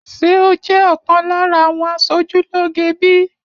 Ṣé o jẹ́ ọ̀kan lára àwọn aṣojú lóge bíi?